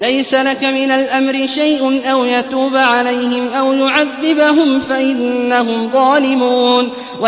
لَيْسَ لَكَ مِنَ الْأَمْرِ شَيْءٌ أَوْ يَتُوبَ عَلَيْهِمْ أَوْ يُعَذِّبَهُمْ فَإِنَّهُمْ ظَالِمُونَ